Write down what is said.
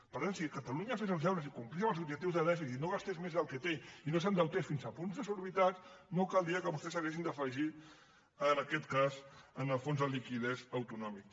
per tant si catalunya fes els deures i complís amb els objectius de dèficit no gastés més del que té i no s’endeutés fins a punts desorbitats no caldria que vostès s’haguessin d’afegir en aquest cas en el fons de liquiditat autonòmic